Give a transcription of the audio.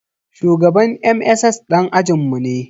Shugaban MSS ɗan ajin mu ne